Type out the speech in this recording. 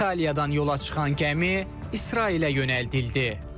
İtaliyadan yola çıxan gəmi İsrailə yönəldildi.